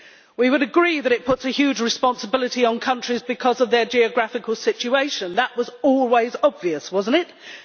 We would agree that it puts a huge responsibility on countries because of their geographical situation that was always obvious, was it not?